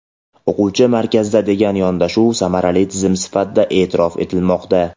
o‘quvchi markazda degan yondashuv samarali tizim sifatida eʼtirof etilmoqda.